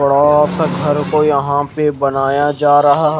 बड़ा सा घर को यहा पे बनाया जा रहा।